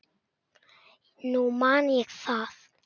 Nú man ég það!